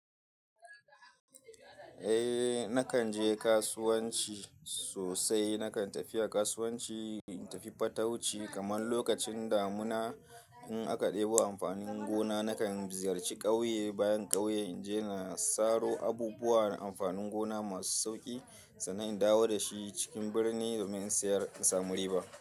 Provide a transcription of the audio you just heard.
Eh, nakan je kasuwanci sosai. Nakan tafiya kasuwanci, in tafi fatauci. Kamar lokacin damuna in aka ɗebo amfanin gona, nakan ziyarci ƙauye bayan ƙauye in je na saro abubuwa da amfanin gona masu sauƙi, sannan in dawo da shi cikin birni domin in sayar in samu riba.